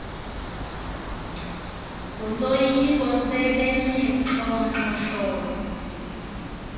ngoloyiko sebemi xhonxosholo